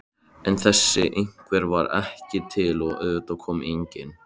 En þessi einhver var ekki til og auðvitað kom enginn.